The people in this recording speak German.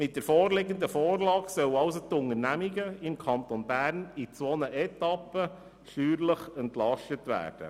Mit dieser Vorlage sollen die Unternehmungen im Kanton Bern in zwei Etappen steuerlich entlastet werden.